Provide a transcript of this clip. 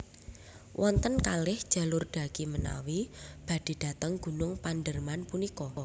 Wonten kalih jalur dhaki menawi badhe dhateng Gunung Panderman punika